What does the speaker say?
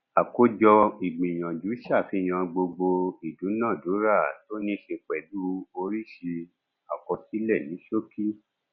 àkójọ ìgbìyànjú ṣàfihàn gbogbo ìdúnàádúrà tó ní ṣe pẹlú oríṣi àkọsílẹ ní ṣókí